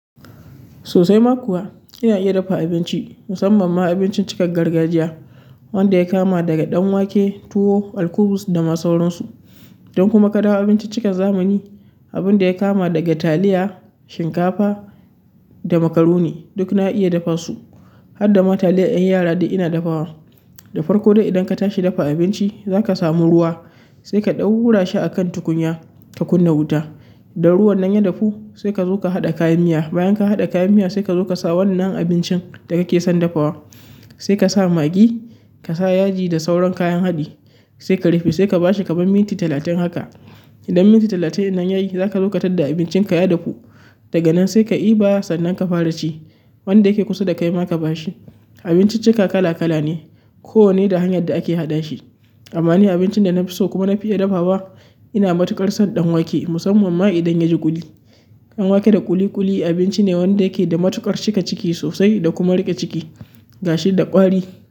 Sosai ma kuwa ina iya dafa abinci, musamman ma abincin cikar gargajiya wanda ya kama daga ɗan wake, tuwo, alkubus da ma sauransu. Idan kuma ka dawo abinciccikan zamani, abin da ya kama daga taliya, shinkafa da makaroni duk na iya dafa su. Har da ma taliyar ƴan yara dai ina dafawa. Da farko dai idan ka tashi dafa abinci za ka samu ruwa sai ka ɗaura shi a kan tukunya ka kunna wuta. Da ruwan nan ya dahu sai ka zo ka haɗa kayan miya. Bayan ka haɗa kayan miya sai ka zo ka sa wannan abincin da kake son dafawa. Sai kasa maggi kasa yaji da sauran kayan haɗi sai ka rufe sai ka bashi kaman minti talatin haka. Idan minti talatin nan yayi za ka zo ka tar da abincin ka ya dafu. Daga nan sai ka ɗiba sannan ka fara ci. Wanda yake kusa da kai ma ka bashi. Abinciccika kala kala ne. Kowane da hanyar da ake haɗa shi amma ni abincin da na fi so kuma na fi iya dafawa ina matuƙar son ɗan wake musamman ma idan ya ji ƙuli. Ɗanwake da ƙuli ƙuli abinci wanda yake da mutuƙar riƙe ciki gashi kuma da ƙwari.